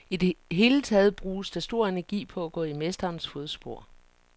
I det hele taget bruges der stor energi på at gå i mesterens fodspor.